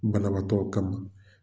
Banabatɔw kama